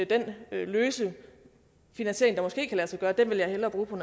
den løse finansiering der måske kan lade sig gøre vil jeg hellere bruge på